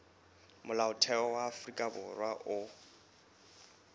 molaotheo wa afrika borwa o